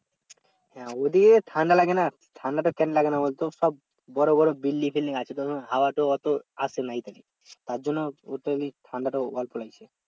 হ্যাঁ ওই দিকে ঠান্ডা লাগে না ঠান্ডা তো কেন লাগে না ওদের তো সব বড় বড় building আছে হাওয়া তো অতো আসে না তার জন্য ঠাণ্ডা টাও অল্প লাগছে